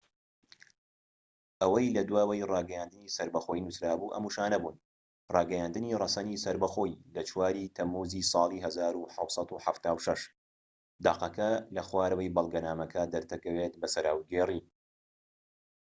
ئەوەی لە دواوەی ڕاگەیاندنی سەربەخۆیی نووسرا بوو ئەم وشانە بوون ڕاگەیاندنی ڕەسەنی سەربەخۆیی لە 4ی تەمموزی ساڵی 1776 دەقەکە لە خوارەوەی بەڵگەنامەکە دەردەکەوێت بە سەراوگێری